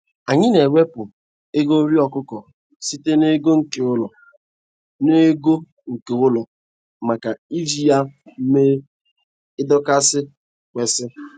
Anyị na-ewepụ ego nri okụkọ sịte n'ego nke ụlọ n'ego nke ụlọ maka iji ya mee ie dịkao si kwesị.